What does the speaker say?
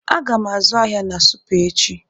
Aga m azụ ahịa na Supa echi.